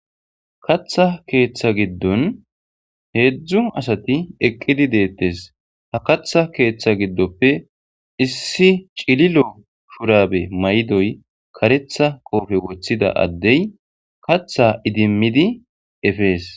katha keeththa giddon heedzdzu asati eqqidi deettes ha katha keeththa giddoppe issi cililo shurabe maydoy karetha qoofe woththida addey katha idimmidi efees